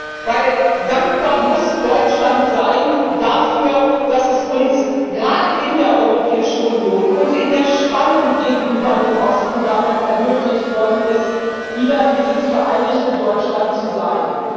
Denn dankbar muss Deutschland sein dafür, dass es uns gerade in der Europäischen Union und in der Spannung gegenüber dem Osten damals ermöglicht worden ist, wieder dieses vereinigte Deutschland zu sein.